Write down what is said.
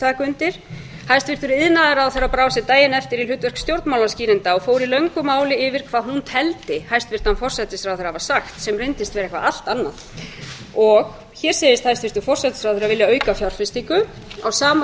taka undir hæstvirtur iðnaðarráðherra brá sér daginn eftir í hlutverk stjórnmálaskýranda og fór í löngu máli yfir hvað hún teldi hæstvirtan forsætisráðherra hafa sagt sem reyndist vera eitthvað allt annað og hér segist hæstvirtur forsætisráðherra vilja auka fjárfestingu á sama